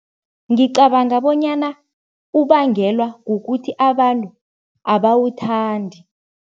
Ngicabanga bonyana ubangelwa kukuthi abantu abawuthandi.